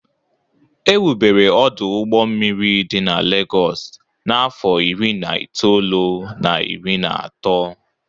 Ewubere ọdụ ụgbọ mmiri dị na Legọs n'afọ iri na itoolu na iri na atọ